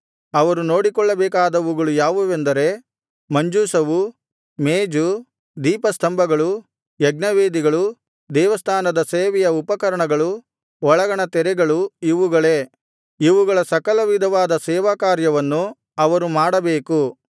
ಅವರು ನೋಡಿಕೊಳ್ಳಬೇಕಾದವುಗಳು ಯಾವುದೆಂದರೆ ಮಂಜೂಷವು ಮೇಜು ದೀಪಸ್ತಂಭಗಳು ಯಜ್ಞವೇದಿಗಳು ದೇವಸ್ಥಾನದ ಸೇವೆಯ ಉಪಕರಣಗಳು ಒಳಗಣ ತೆರೆಗಳು ಇವುಗಳೇ ಇವುಗಳ ಸಕಲವಿಧವಾದ ಸೇವಕಾರ್ಯವನ್ನು ಅವರು ಮಾಡಬೇಕು